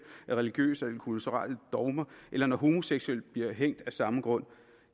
af religiøse og kulturelle dogmer eller når homoseksuelle bliver hængt af samme grund